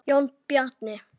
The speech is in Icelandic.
Jón Bjarni.